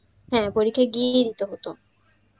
হ্যাঁ পরীক্ষা, গেয়েই দিতে হত